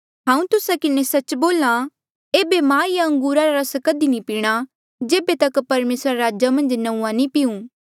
हांऊँ तुस्सा किन्हें सच्च बोल्हा ऐबे मां ये अंगूरा रा रस कधी नी पीणा जेबे तक परमेसरा रे राजा मन्झ नंऊँआं नी पिंऊँ